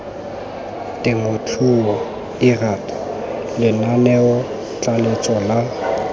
temothuo lrad lenaneo tlaleletso la